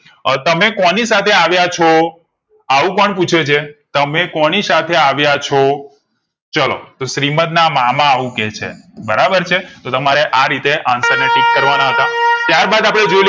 અ તમેં કો ની સાથે આવ્યા છો અવુ કોણ પુછે છે તમે કોની સાથે આવ્યા છો ચાલો તો શ્રિમંત ના મામા આવું કે છે બરાબર છે તો તમારે આરીતે answer ને ટીક કરવા ના હતાં બાદ આપડે જોઈએ લઈએ